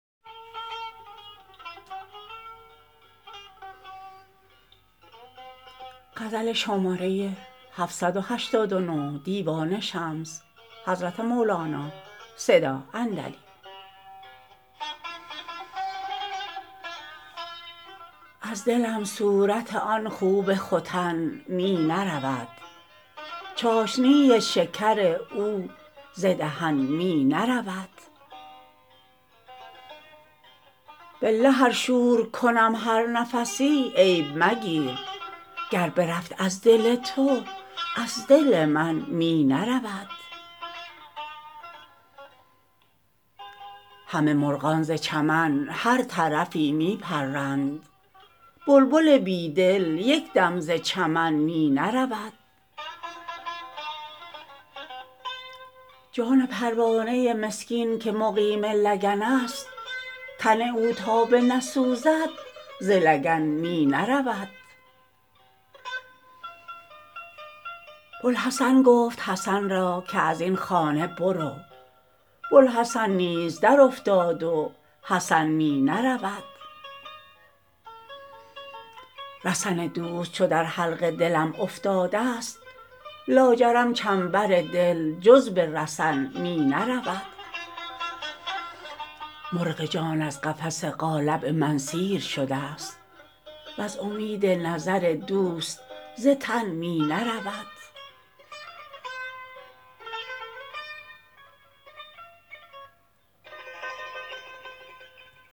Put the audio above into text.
از دلم صورت آن خوب ختن می نرود چاشنی شکر او ز دهن می نرود بالله ار شور کنم هر نفسی عیب مگیر گر برفت از دل تو از دل من می نرود همه مرغان ز چمن هر طرفی می پرند بلبل بی دل یک دم ز چمن می نرود جان پروانه مسکین که مقیم لگنست تن او تا بنسوزد ز لگن می نرود بوالحسن گفت حسن را که از این خانه برو بوالحسن نیز درافتاد و حسن می نرود رسن دوست چو در حلق دلم افتاده ست لاجرم چنبر دل جز به رسن می نرود مرغ جان از قفس قالب من سیر شده ست و ز امید نظر دوست ز تن می نرود